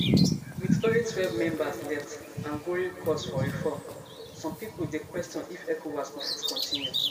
wit only twelve members left and growing calls for reform some pipo dey question if ecowas go fit continue